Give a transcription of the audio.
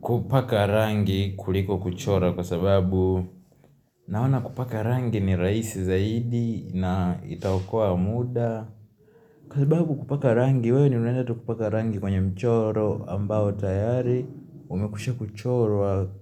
kupaka rangi kuliko kuchora kwa sababu naona kupaka rangi ni rahisi zaidi na itaokoa muda. Kwa sababu kupaka rangi, we ni unaenda tu kupaka rangi kwenye mchoro ambao tayari umekwisha kuchorowa kuchoro.